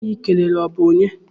Onye ahụ I kelere ọ bụ onye?